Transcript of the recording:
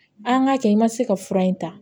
An ka kɛ i ma se ka fura in ta